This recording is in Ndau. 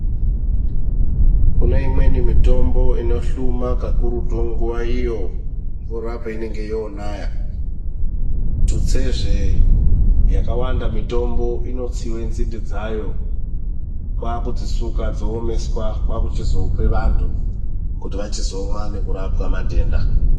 Kune imweni mitombo inohluma kakurutu nguwa iyo mvura painenge yoonaya, tutsezve yakawanda mitombo inotsiwe nzinde dzayo kwakudzisuka dzoomeswa kwakuchizope vanhu kuti vachizomwa nekurapwa matenda.